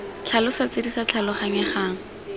tlhalosa tse di sa tlhaloganyegang